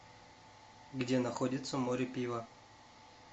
где находится море пива